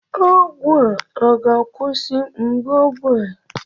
ọgwụ a ọ ga-akwụsị mgbu obi a?